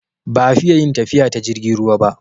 Ba'a fiya yin tafiya ta jirgin ruwa ba